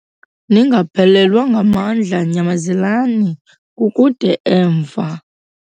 Ningaphelelwa ngamandla nyamezelani, kukude emva.